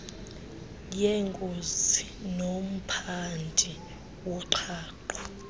yengozi nomphandi woqhaqho